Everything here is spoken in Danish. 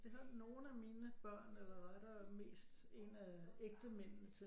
Det har nogle af mine børn eller rettere mest en af ægtemændene til